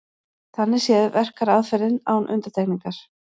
Þannig séð verkar aðferðin án undantekningar.